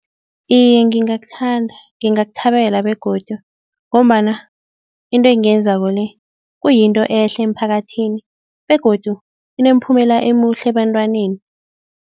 Iye, ngingakuthanda, ngingakuthabela begodu ngombana into engiyenzako le kuyinto ehle emphakathini begodu inemiphumela omuhle ebantwaneni.